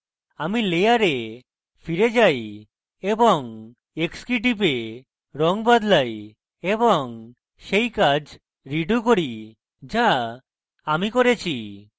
আমি layer ফিরে যাই এবং x key টিপে রঙ বদলাই এবং key কাজ redo key so আমি করেছি